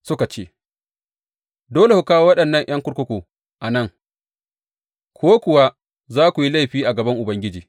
Suka ce, Dole ku kawo waɗannan ’yan kurkukun a nan, ko kuwa za ku yi laifi a gaban Ubangiji.